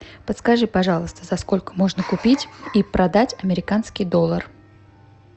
подскажи пожалуйста за сколько можно купить и продать американский доллар